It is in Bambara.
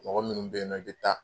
Mɔgɔ minnu bɛ yen nɔ i bɛ taa